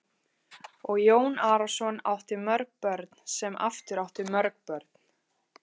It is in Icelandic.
Og Jón Arason átti mörg börn sem aftur áttu mörg börn.